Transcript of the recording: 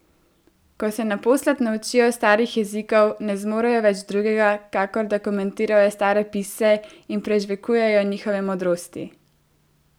Ko se naposled naučijo starih jezikov, ne zmorejo več drugega, kakor da komentirajo stare pisce in prežvekujejo njihove modrosti.